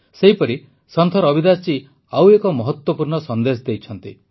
ସେହିପରି ସନ୍ଥ ରବିଦାସ ଜୀ ଆଉ ଏକ ମହତ୍ୱପୂର୍ଣ୍ଣ ସନ୍ଦେଶ ଦେଇଛନ୍ତି